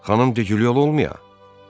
Xanım De Gilyoy olmaya?